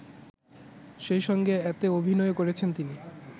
সেইসঙ্গে এতে অভিনয়ও করেছেন তিনি